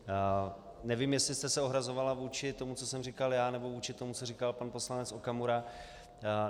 Nevím, jestli jste se ohrazovala vůči tomu, co jsem říkal já, nebo vůči tomu, co říkal pan poslanec Okamura.